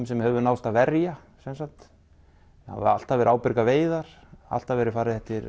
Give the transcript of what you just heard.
sem hefur náðst að verja sem sagt það hafa alltaf verið ábyrgar veiðar alltaf verið farið eftir